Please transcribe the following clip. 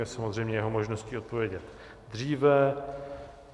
Je samozřejmě jeho možností odpovědět dříve.